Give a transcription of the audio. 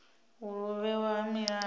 uri u vhewa ha milayo